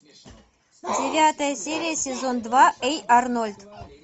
девятая серия сезон два эй арнольд